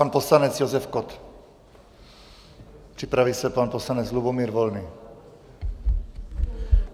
Pan poslanec Josef Kott, připraví se pan poslanec Lubomír Volný.